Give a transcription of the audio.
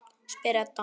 spyr Edda.